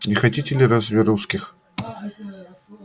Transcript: не хотите ли разве русских